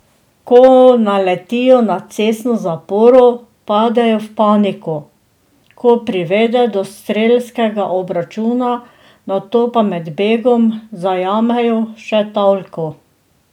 Ko naletijo na cestno zaporo, padejo v paniko, ki privede do strelskega obračuna, nato pa med begom zajamejo še talko.